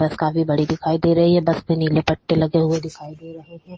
बस काफी बड़े दिखाई दे रहै है बस में नीले पट्टे लगे हुए दिखाई दे रहै है।